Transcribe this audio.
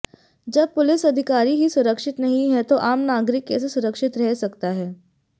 जब पुलिस अधिकारी ही सुरक्षित नहीं हैं तो आम नागरिक कैसे सुरक्षित रह सकता है